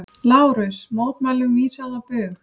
LÁRUS: Mótmælum vísað á bug.